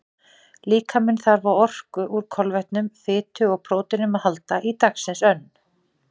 Líkaminn þarf á orku úr kolvetnum, fitu og próteinum að halda í dagsins önn.